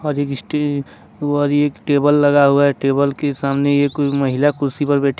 और एक टेबल लगा हुआ है टेबल के सामने यह कोई महिला कुर्सी पर बैठी।